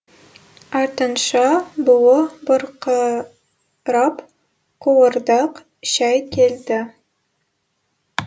артынша буы бұрқырап қуырдақ шәй келді